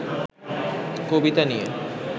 কবিতা নিয়ে